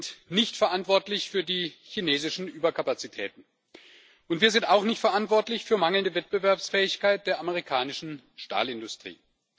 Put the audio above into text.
Wir sind nicht verantwortlich für die chinesischen Überkapazitäten, und wir sind auch nicht verantwortlich für die mangelnde Wettbewerbsfähigkeit der amerikanischen Stahlindustrie.